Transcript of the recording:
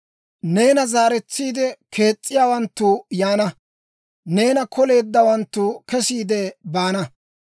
«Neena zaaretsiide kees's'iyaawanttu yaana; neena koleeddawanttu kesiide baana.